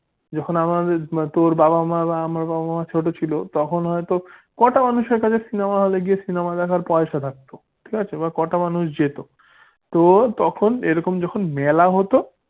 জখন আমার তোর বাবা মা আমার মা-বাবা ছোট ছিল তখন হইত কটা মানুষের কাছে cinema হলে গিয়ে cinema দেখার পয়সা থাকতো ঠিক আছে বা কটা মানুষ যেত তো তখন এইরকম যখন মেলা হত